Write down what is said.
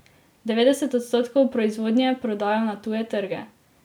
Devetdeset odstotkov proizvodnje prodajo na tuje trge.